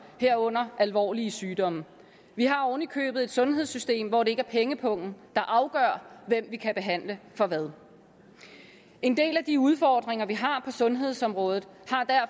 herunder alvorlige sygdomme vi har oven i købet et sundhedssystem hvor det ikke er pengepungen der afgør hvem vi kan behandle for hvad en del af de udfordringer vi har på sundhedsområdet